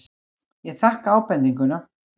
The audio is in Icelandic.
Ég þakka ábendinguna.